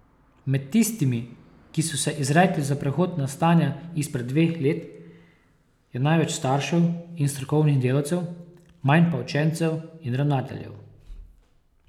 Med tistimi, ki so se izrekli za prehod na stanje izpred dveh let, je največ staršev in strokovnih delavcev, manj pa učencev in ravnateljev.